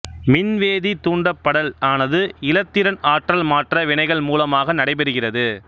மின்வேதி தூண்டப்படல் ஆனது இலத்திரன் ஆற்றல்மாற்ற வினைகள் மூலமாக நடைபெறுகிறது